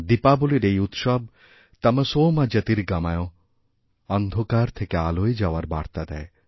দীপাবলীর এই উৎসব তমসোমা জ্যোতির্গময় অন্ধকার থেকে আলোয় যাওয়ার বার্তা দেয়